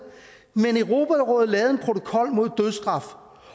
men europarådet lavede en protokol mod dødsstraf